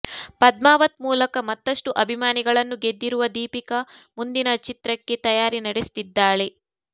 ಪದ್ಮಾವತ್ ಮೂಲಕ ಮತ್ತಷ್ಟು ಅಭಿಮಾನಿಗಳನ್ನು ಗೆದ್ದಿರುವ ದೀಪಿಕಾ ಮುಂದಿನ ಚಿತ್ರಕ್ಕೆ ತಯಾರಿ ನಡೆಸ್ತಿದ್ದಾಳೆ